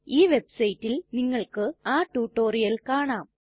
ഈ വെബ്സൈറ്റിൽ നിങ്ങൾക്ക് ആ റ്റുറ്റൊരിയൽ കാണാം